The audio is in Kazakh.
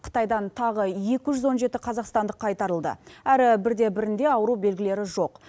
қытайдан тағы екі жүз он жеті қазақстандық қайтарылды әрі бірде бірінде ауру белгілері жоқ